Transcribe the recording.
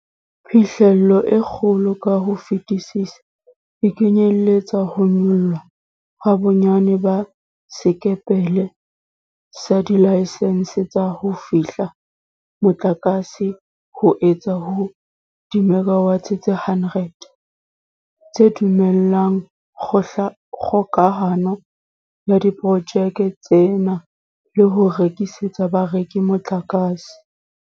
Phihlello e kgolo ka ho fetisisa e kenyeletsa ho nyollwa ha bonyane ba sekepele sa dilaesense tsa ho fehla motlakase ho isa ho dimekawate tse 100, tse dumellang kgokahano ya diporojeke tsena le ho rekisetsa bareki motlakase.